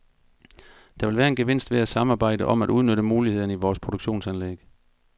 Der vil være en gevinst ved at samarbejde om at udnytte mulighederne i vores produktionsanlæg.